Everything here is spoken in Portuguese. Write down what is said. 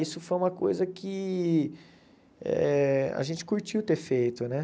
Isso foi uma coisa que eh a gente curtiu ter feito, né?